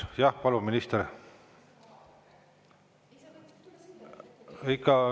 Jah, palun, minister!